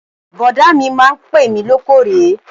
Bọ̀dá mi máa ń pè mí lóòkóòrè